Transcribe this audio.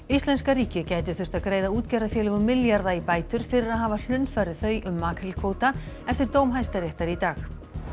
Íslenska ríkið gæti þurft að greiða útgerðarfélögum milljarða í bætur fyrir að hafa hlunnfarið þau um makrílkvóta eftir dóm Hæstaréttar í dag